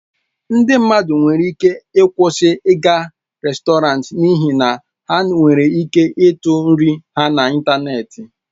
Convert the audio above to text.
Ndị mmadụ nwere ike ịkwụsị ịga rèstọrantị n'ihi na ha nwere ike ịtụ nri ha n'ịntanetị.